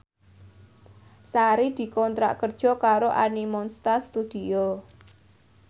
Sari dikontrak kerja karo Animonsta Studio